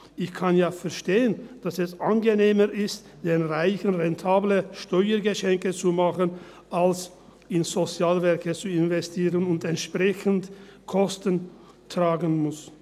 Ich kann ja verstehen, dass es angenehmer ist, den Reichen rentable Steuergeschenke zu machen, als in Sozialwerke zu investieren und entsprechende Kosten tragen zu müssen.